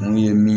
N'o ye mi